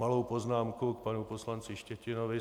Malou poznámku k panu poslanci Štětinovi.